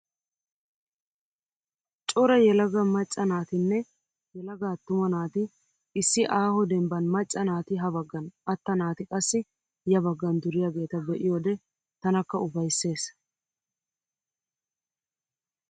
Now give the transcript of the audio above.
Cora yelaga macca naatinne yelaga attuma naati issi aaho dembban macca naati ha baggan atta naati qassi ya baggan duriyageeta be'iyode tanakka ufayisses.